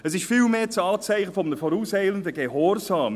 Es ist viel mehr das Anzeichen eines vorauseilenden Gehorsams.